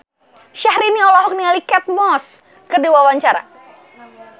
Syahrini olohok ningali Kate Moss keur diwawancara